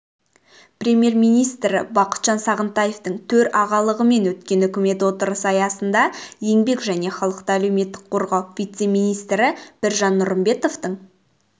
премьер-министрі бақытжан сағынтаевтың төрағалығымен өткен үкімет отырысы аясында еңбек және халықты әлеуметтік қорғау вице-министрі біржан нұрымбетовтың